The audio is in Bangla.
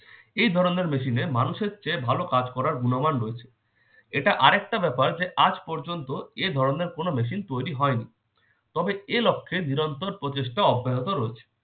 এই ধরনের machine এ মানুষের চেয়ে ভালো কাজ করার গুণমান রয়েছে। এটা আরেকটা ব্যাপার যে আজ পর্যন্ত এ ধরনের কোন machine তৈরি হয়নি। তবে এ লক্ষে নিরন্তর প্রচেষ্টা অব্যাহত রয়েছে।